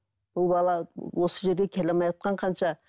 бұл бала осы жерге келе алмайатқан қанша